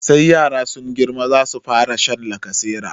Sai yara sun girma za su fara sha lacasera.